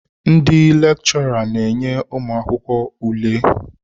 Ndị lechora na enye ụmụakwụkwọ ule.